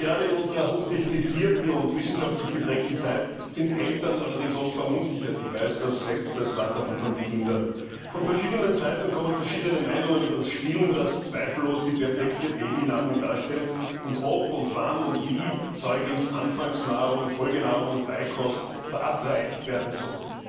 Gerade in unserer hochtechnisierten und wissenschaftlich geprägten Zeit sind Eltern allerdings oft verunsichert. Als Vater von fünf Kindern weiß ich das selbst. Von verschiedenen Seiten kommen verschiedene Meinungen über das Stillen, das zweifellos die perfekte Babynahrung darstellt, und darüber ob, wann und wie Säuglingsanfangsnahrung, Folgenahrung und Beikost verabreicht werden soll.